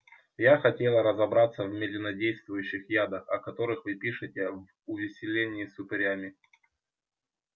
я хотела разобраться в медленнодействующих ядах о которых вы пишете в увеселении с упырями